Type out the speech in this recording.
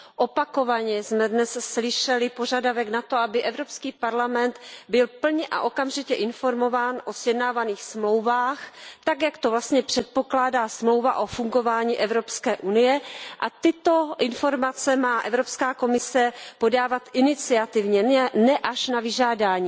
Opakovaně jsme dnes slyšeli požadavek na to, aby Evropský parlament byl plně a okamžitě informován o sjednávaných dohodách tak, jak to vlastně předpokládá Smlouva o fungování EU, a tyto informace má Evropská komise podávat iniciativně, ne až na vyžádání.